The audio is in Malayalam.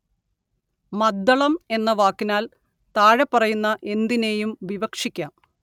മദ്ദളം എന്ന വാക്കിനാല്‍ താഴെപ്പറയുന്ന എന്തിനേയും വിവക്ഷിക്കാം